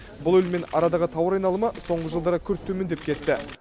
бұл елмен арадағы тауар айналымы соңғы жылдары күрт төмендеп кетті